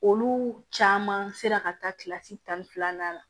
Olu caman sera ka taa kilasi tan ni filanan na